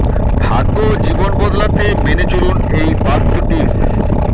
ভাগ্য ও জীবন বদলাতে মেনে চলুন এই বাস্তু টিপস